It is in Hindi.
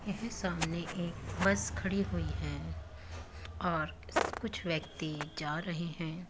यह सामने एक बस खड़ी हुई है और कुछ व्यक्ति जा रहे हैं।